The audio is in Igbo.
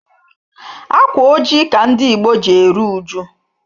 Ákwà ojii ka ndị Ìgbo ji eru uju.